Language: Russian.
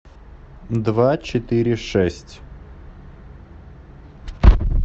два четыре шесть